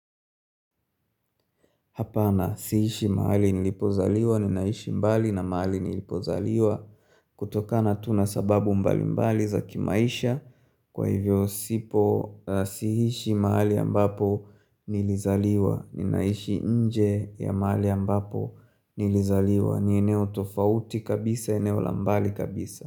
Hapana siishi mahali nilipozaliwa ni naishi mbali na mahali nilipozaliwa kutoka natuna sababu mbali mbali za kimaisha Kwa hivyo sipo siishi mahali ambapo nilizaliwa ni naishi nje ya mahali ambapo nilizaliwa ni eneo tofauti kabisa eneo lambali kabisa.